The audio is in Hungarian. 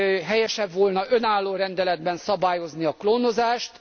Helyesebb volna önálló rendeletben szabályozni a klónozást.